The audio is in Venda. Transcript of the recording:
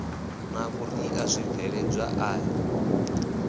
na vhuḓi a zwibveledzwa i